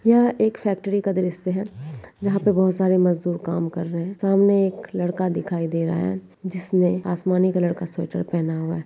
यह एक फैक्ट्री का दृष्य है यहाँ पर बोहत सारे मजदूर काम कर रहें है सामने ऐक लड़का दीखाइ दे रहा है जिसने आसमानी कलर का स्वेेटर पहना हुआ है।